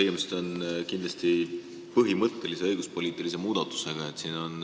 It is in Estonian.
Tegemist on kindlasti põhimõttelise õiguspoliitilise muudatusega.